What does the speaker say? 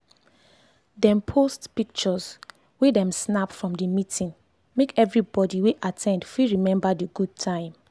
dem post pictures wey dem snap from the meeting make everybody wey at ten d fit remember the good time.